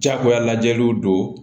Jagoya lajɛliw don